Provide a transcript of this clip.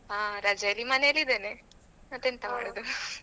ಆ ರಜೆಯಲ್ಲಿ ಮನೆಯಲ್ಲಿ ಇದೇನೆ ಮತ್ತೆಂತ ಮಾಡೋದು .